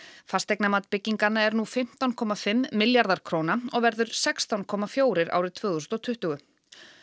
fasteignamat bygginganna er nú fimmtán komma fimm milljarðar króna og verður sextán komma fjögur árið tvö þúsund og tuttugu